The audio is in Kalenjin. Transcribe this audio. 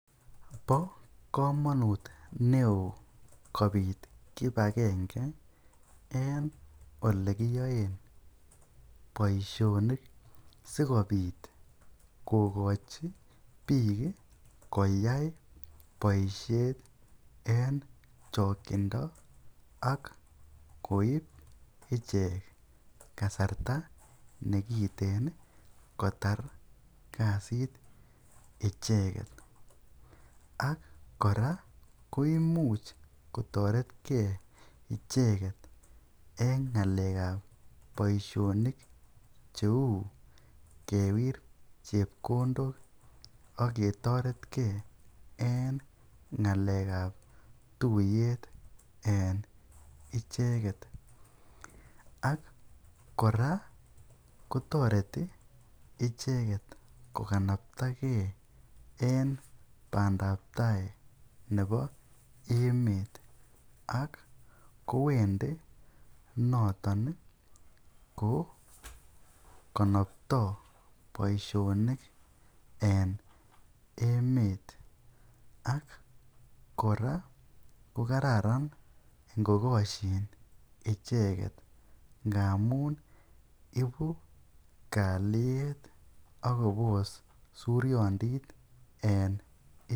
Po komonut neo kopit kipakenge eng ole kiaei poishonik si kobit kokochi pik koyai boishet eng chakchindo ak koip ichek kasarta nekiiteen kotar kasit icheket ak kora ko imuch kotaret kee icheket eng ngalekap poishonik cheu kewir chekondok ak ketaret kee eng ngalekap tuiyet eng icheket ak kora kotareti icheket kokanaptakei eng pandaptai nebo emet ak kowendi notok kokanaptai poishonik eng emet ak kora kokararan ngokoschin icheket ngamun ipu kalyet akopos suryondit en emet